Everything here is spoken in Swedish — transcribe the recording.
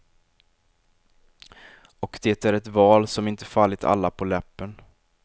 Och det är ett val som inte fallit alla på läppen.